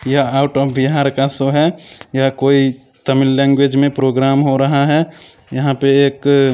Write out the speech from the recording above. यह out of Bihar का show है यह कोई तमिल लैंग्वेज में प्रोग्राम हो रहा है। यंहा पे एक--